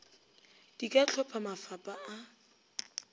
di ka hlopha mafapa a